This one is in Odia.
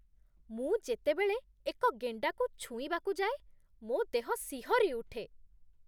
ମୁଁ ଯେତେବେଳେ ଏକ ଗେଣ୍ଡାକୁ ଛୁଇଁବାକୁ ଯାଏ, ମୋ ଦେହ ଶିହରି ଉଠେ।